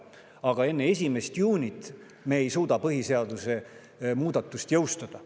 Aga enne 1. juunit me ei suuda põhiseaduse muudatust jõustada.